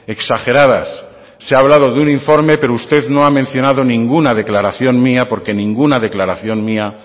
exageradas se ha hablado de un informe pero usted no ha mencionado ninguna declaración mía porque ninguna declaración mía